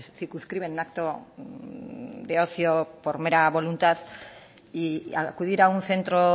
circunscribe en un acto de ocio por mera voluntad y acudir a un centro